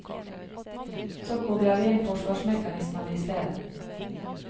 Så kobler vi inn forsvarsmekanismene i stedet.